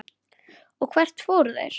Og hvert fóru þeir?